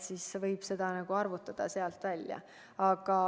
Nii et võite ise summa välja arvutada.